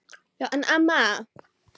Já en amma.